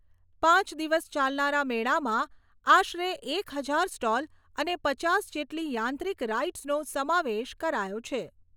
પાંચ દિવસ ચાલનારા મેળામાં આશરે એક હજાર સ્ટોલ અને પચાસ જેટલી યાંત્રિક રાઇડસનો સમાવેશ કરાયો છે.